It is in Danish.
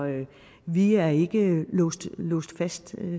vi er ikke låst fast